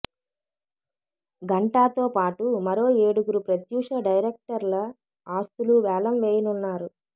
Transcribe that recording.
గంటాతో పాటు మరో ఏడుగురు ప్రత్యూష డైరెక్టర్ల ఆస్తులూ వేలం వేయనున్నారు